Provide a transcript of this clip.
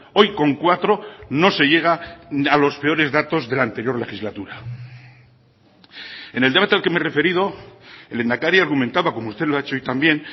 hoy con cuatro no se llega a los peores datos de la anterior legislatura en el debate al que me he referido el lehendakari argumentaba como usted lo ha hecho hoy también